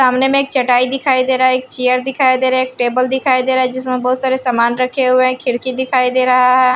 सामने में एक चटाई दिखाई दे रहा है एक चेयर दिखाई दे रहा है टेबल दिखाई दे रहा है जिसमें बहुत सारे सामान रखे हुए हैं खिड़की दिखाई दे रहा है।